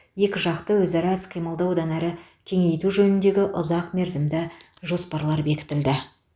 екіжақты өзара іс қимылды одан әрі кеңейту жөніндегі ұзақмерзімді жоспарлар бекітілді